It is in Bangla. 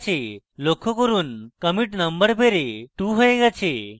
লক্ষ্য করুন commit number বেড়ে 2 হয়ে গেছে